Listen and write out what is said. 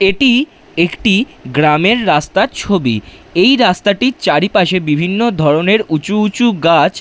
এটি একটি গ্রামের রাস্তার ছবি এই রাস্তাটির চারিপাশে বিভিন্ন ধরনের উঁচু উঁচু গাছ--